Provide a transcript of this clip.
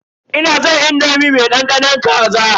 Ina san indomi mai dandanon kaza.